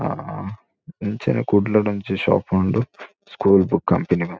ಆ ಅಂಚೆನೆ ಕುಡ್ಲಡ್ ಒಂಜಿ ಶಾಪ್ ಉಂಡು ಸ್ಕೂಲ್ ಬುಕ್ ಕಂಪೆನಿ ಪಂ--